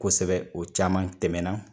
Kosɛbɛ o caman tɛmɛn na